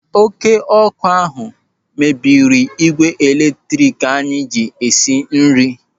Oké ọ́kụ́ ahụ mebiri m ígwè eletrik anyị ji esi nri.